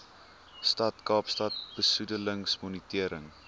stad kaapstad besoedelingsmonitering